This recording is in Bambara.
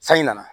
Sanji nana